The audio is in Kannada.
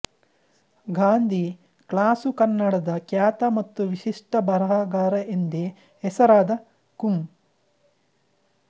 ಗಾಂಧಿ ಕ್ಲಾಸು ಕನ್ನಡದ ಖ್ಯಾತ ಮತ್ತು ವಿಶಿಷ್ಟ ಬರಹಗಾರ ಎಂದೇ ಹೆಸರಾದ ಕುಂ